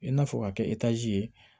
I n'a fɔ ka kɛ etazi ye